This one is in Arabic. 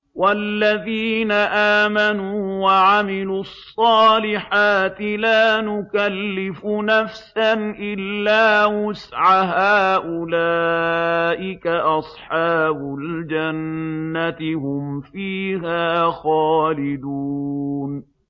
وَالَّذِينَ آمَنُوا وَعَمِلُوا الصَّالِحَاتِ لَا نُكَلِّفُ نَفْسًا إِلَّا وُسْعَهَا أُولَٰئِكَ أَصْحَابُ الْجَنَّةِ ۖ هُمْ فِيهَا خَالِدُونَ